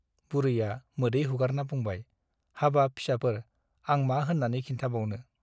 बुरैया मोदै हुगारना बुंबाय- हाबाब फिसाफोर आं मा होन्नानै खिन्थाबावनो ?